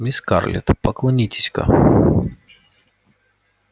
мисс скарлетт поклонитесь-ка